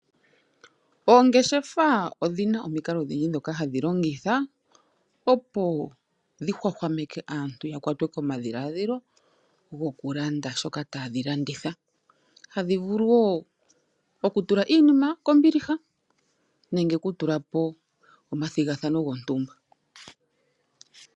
Oongeshefa odhi na omikalo odhindji ndhoka hadhi longitha opo dhi hwahwameke aantu ya kwatwe komadhiladhilo gokulanda shoka tadhi landitha oha dhi vulu wo okutula iinima kombiliha nenge okutulapo omathigathano gontumba.